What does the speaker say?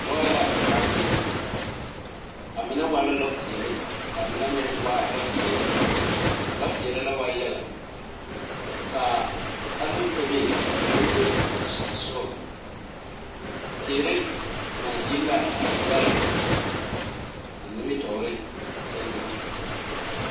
Lɔɛ la a biŋ a mine waa la lɔpeɛle ka a mine meŋ waa lɔzeere a lɔpeɛle la waa yaga ka alopele a meŋ be a meŋ are a ba sogaŋ teere ŋmaagyili la a lɔɛ a nimitɔɔre seŋ na.